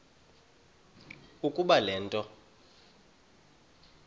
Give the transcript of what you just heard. ukuba le nto